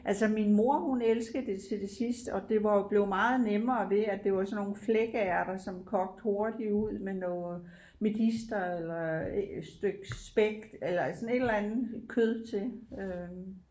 Altså min mor hun elskede det til det sidste og det var jo blev meget nemmere ved at det var sådan nogle flækærter som kogte hurtigt ud med noget medister eller et stykke spæk eller sådan et eller andet kød til øh